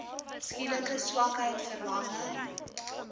skielike swakheid verlamming